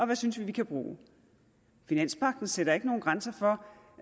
vi synes vi kan bruge finanspagten sætter ikke nogen grænser